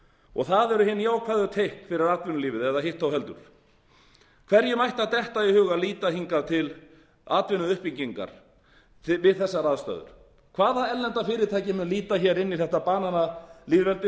það eru hin jákvæðu teikn fyrir atvinnulífið eða hitt þó heldur hverjum ætti að detta í hug að líta hingað til atvinnuuppbyggingar við þessar aðstæður hvaða erlenda fyrirtæki mun líta inn í þetta bananalýðveldi sem er